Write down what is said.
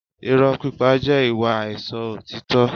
Irọ́ pípa jẹ́ ìwà àìsọ òtítọ́